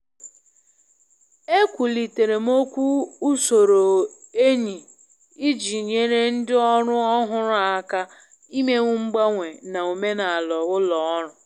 E kwulitere m okwu usoro enyi iji nyere ndị ọrụ ọhụrụ aka imenwu mgbanwe na omenala ụlọ ọrụ.